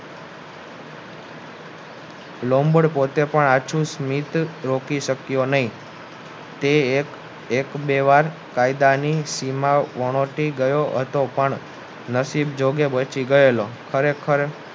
labour પોતે પણ આછું સ્મિત રોકી શક્ય નહિ તે એક બે વાર કાયદાની સીમા વણોતી ગયો હતો પણ નસીબ જોકે બચી ગયેલો ખરેખર